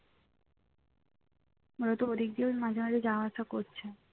ওরা তো ওদিক দিয়েও মাঝে মাঝে যাওয়া আসা করছে